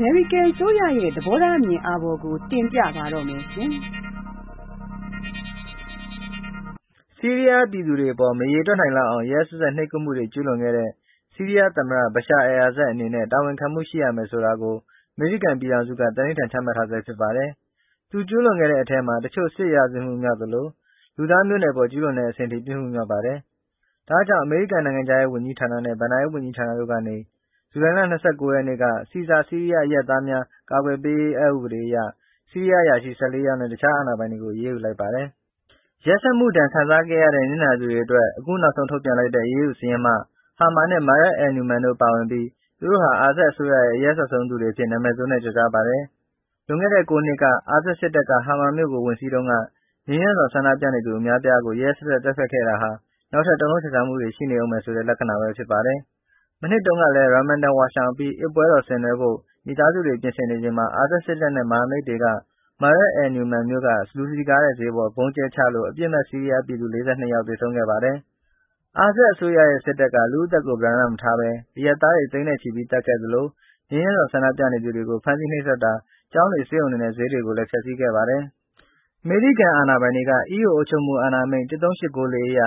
မေရိကန်အစိုးရရဲ့ သဘောထားအမြင်အာဘော်ကို တင်ပြပါမယ်။ ဆီးရီးယားပြည်သူတွေအပေါ်မရေတွက်နိုင်လောက်အောင် ရက်ရက်စက်စက် နှိပ်ကွပ်မှုတွေ ကျူးလွန်ခဲ့တဲ့ ဆီးရီးယားသမ္မတ ဘရှာအယ်လ်အာဆတ်အနေနဲ့ တာဝန်ခံမှုရှိရမယ် ဆိုတာကိုအမေရိကန်ပြည်ထောင်စုက သန္နိဋ္ဌာန်ချမှတ်ထားဆဲဖြစ်ပါတယ်။ သူကျူးလွန်ခဲ့တဲ့အထဲမှာ တချို့ စစ်ရာဇဝတ်မှုမြောက်သလို၊ လူသားမျိုးနွယ်အပေါ်ကျူးလွန်တဲ့အဆင့်အထိ ပြစ်မှု မြောက်ပါတယ်။ ဒါ့ကြောင့် အမေရိကန်နိုင်ငံခြားဝန်ကြီးဌာနနဲ့ ဘဏ္ဍာရေးဝန်ကြီးဌာနတို့ကနေ ဇူလိုင်လ ၂၉ ရက်နေ့က ဆီဇာဆီးရီးယားအရပ်သားများအကာအကွယ်ပေးရေး အက်ဥပဒေအရ ဆီးရီးယားအရာရှိ ၁၄ ယောက်နဲ့ တခြားအာဏာပိုင်တွေကို အရေးယူလိုက်ပါတယ်။ ရက်စက်မှုဒဏ်ခံစားခဲ့ရတဲ့ နစ်နာသူတွေအတွက် အခုနောက်ဆုံး ထုတ်ပြန်လိုက်တဲ့ အရေးယူစာရင်းမှ ဟာမာနဲ့ မာရတ်အယ်လနူမန် တို့ပါဝင်ပြီး သူတို့ဟာ အာဆတ်အစိုးရရဲ့ အရက်စက်ဆုံးသူတွေအဖြစ် နာမည်ဆိုးနဲ့ကျော်ကြားပါတယ်။လွန်ခဲ့တဲ့ ၉ နှစ်ကအာဆတ်စစ်တပ်က ဟာမာမြို့ကို ဝင်စီးတုန်းက ငြိမ်းချမ်းစွာဆန္ဒပြနေသူတွေ အများအပြားကို ရက်ရက်စက်စက် သတ်ဖြတ်ခဲ့တာဟာ နောက်ထပ် တုန်လှုတ်ခြောက်ခြားမှုတွေရှိနေဦးမယ်ဆိုတဲ့ လက္ခဏာဘဲဖြစ်ပါတယ်။မနှစ်တုန်းကလည်း Ramadan ဝါရှောင်အပြီး အစ်ပွဲတော်ဆင်နွှဲဖို့ မိသားစုတွေ ပြင်ဆင်နေစဉ်မှာ အာဆတ်စစ်တပ်နဲ့ မဟာမိတ်တွေက မားရတ်အယ်လ်နူမန်မြို့က လူစည်ကားတဲ့ဈေးပေါ်ဗုံးကြဲချလို့ အပြစ်မဲ့ ဆီးရီးယားပြည်သူ ၄၂ ယောက်သေဆုံးခဲ့ပါတယ်။ အာဆတ်အစိုးရရဲ့ စစ်တပ်က လူ့အသက်ကို ပဓါန မထားဘဲ အရပ်သားတွေသိန်းနဲ့ချီပြီး သတ်ခဲ့သလို ငြိမ်းချမ်းစွာဆန္ဒပြသူတွေကို ဖမ်းဆီး၊ နှိပ်စက်တာ၊ ကျောင်းတွေ၊ ဆေးရုံတွေနဲ့ ဈေးတွေကိုလည်း ဖျက်ဆီးခဲ့ပါတယ်။ အမေရိကန်အာဏာပိုင်တွေက EO အုပ်ချုပ်မှုအာဏာအမိန့် ၁၃၈၉၄ အရ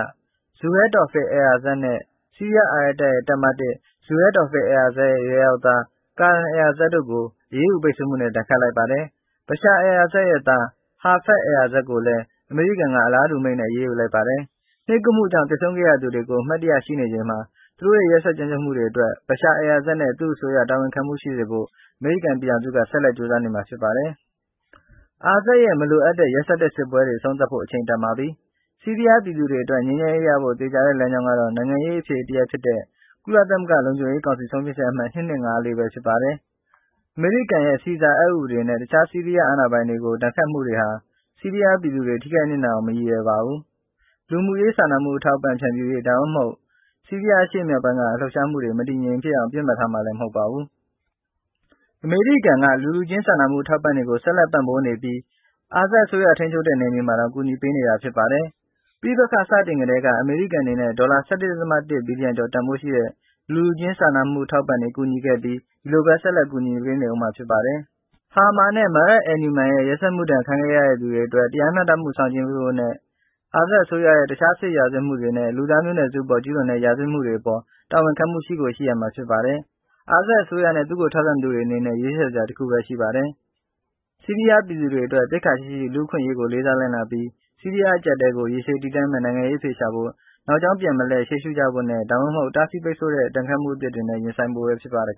ဇူဟဲတော်ဖစ်ခ် အယ်လ်အာဆတ်နဲ့ ဆီးရီးယားအာရပ်တပ်ရဲ့ တပ်မ (၁)၊ ဇူဟဲတော်ဖစ်ခ် အယ်လ်အာဆတ်ရဲ့ အရွယ်ရောက်သား ကာရမ်အယ်လ်အာဆတ်တို့ကို အရေးယူပိတ်ဆို့မှုနဲ့ ဒဏ်ခတ်လိုက်ပါတယ်။ ဘရှာအယ်လအာဆတ်ရဲ့ သား ဟာဖက်ဇ်အယ်လ်အာဆတ်ကိုလည်း အမေရိကန်က အလားတူအမိန့်နဲ့ အရေးယူလိုက်ပါတယ်။ နှိပ်ကွပ်မှုကြောင့်သေဆုံးခဲ့ရသူတွေကို အမှတ်တရ ရှိနေချိန်မှာ သူတို့ရဲ့ ရက်စက်ကြမ်းကြုတ်မှုတွေအတွက် ဘရှာအယ်လ်အာဆတ်နဲ့ သူ့အစိုးရ တာဝန်ခံမှုရှိစေဖို့ အမေရိကန်ပြည်ထောင်စုက ဆက်လက်ကြိုးစားနေမှာဖြစ်ပါတယ်။ အာဆတ်ရဲ့ မလိုအပ်တဲ့ ရက်စက်တဲ့စစ်ပွဲအဆုံးသတ်ဖို့ အချိန်တန်ပါပြီ။ဆီးရီးယားပြည်သူတွေအတွက် ငြိမ်းချမ်းရေးရဖို့ သေချာတဲ့လမ်းကြောင်းကတော့ နိုင်ငံရေး အဖြေတရပ်ဖြစ်တဲ့ ကုလသမဂ္ဂလုံခြုံရေးကောင်စီဆုံးဖြတ်ချက်အမှတ် ၂၂၅၄ ပဲဖြစ်ပါတယ်။ အမေရိကန်ရဲ့ ဆီဇာအက်ဥပဒေနဲ့ တခြားဆီးရီးယားအာဏာပိုင်တွေကို ဒဏ်ခတ်မှုတွေဟာ ဆီးရီးယား ပြည်သူတွေ ထိခိုက်နစ်နာအောင် မရည်ရွယ်ပါဘူး။ လူမှုရေးစာနာမှုအထောက်အပံ့တွေဖြန့်ဖြူးရေး ဒါမှမဟုတ် ဆီးရီးယားအရှေ့မြောက်ပိုင်းက လှုပ်ရှားမှုတွေမတည်မငြိမ်ဖြစ်အောင်လည်း ပြစ်မှတ်ထားတာမဟုတ်ပါဘူး။ အမေရိကန်က လူလူချင်းစာနာမှု အထောက်အပံ့တွေကို ဆက်လက်ပံ့ပိုးနေပြီး အာဆတ်အစိုးရ ထိန်းချုပ်တဲ့နယ်မြေမှာတောင်ကူညီပေးနေတာဖြစ်ပါတယ်။ ပဋိပက္ခစတင်ကတည်းက အမေရိကန်အနေနဲ့ ဒေါ်လာ ၁၁.၁ ဘီလီယံ ကျော်တန်းဖိုးရှိတဲ့ လူလူချင်းစာနာမှု အထောက်အပံ့တွေကူညီခဲ့ပြီး ဒီလိုပဲ ဆက်လက်ကူညီနေဦးမှာဖြစ်ပါတယ်။ ဟာမာနဲ့ မားရတ်အယ်လနူမန်ရဲ့ ရက်စက်မှုဒဏ်ခံခဲ့ရသူတွေအတွက် တရားမျှတမှုဆောင်ကျဉ်းပေးဖို့နဲ့ အာဆတ်အစိုးရရဲ့ တခြားစစ်ရာဇဝတ်မှုတွေနဲ့ လူသားမျိုးနွယ်စု အပေါ်ကျူးလွန်တဲ့ရာဇဝတ်မှုတွေအပေါ် တာဝန်ခံမှုရှိကိုရှိရမှာဖြစ်ပါတယ်။ အာဆတ်အစိုးရနဲ့ သူ့ကိုထောက်ခံသူတွေအနေနဲ့ ရွေးချယ်စရာတခုပဲရှိပါတယ်။ ဆီးရီးယားပြည်သူတွေအတွက် သိက္ခာရှိရှိ၊ လူ့အခွင့်အရေးကိုလေးစားလိုက်နာပြီး၊ ဆီးရီးယားအကျပ်အတည်းကို ရေရှည်တည်တံ့မယ့် နိုင်ငံရေးအဖြေရှာဖို့ နောက်ကြောင်းပြန်မလှည့်ရှေ့ရှုကြဖို့နဲ့၊ ဒါမှမဟုတ် တားဆီးပိတ်ဆို့တဲ့ ဒဏ်ခတ်မှုအသစ်တွေနဲ့ ရင်ဆိုင်ဖို့ဘဲဖြစ်ပါတယ်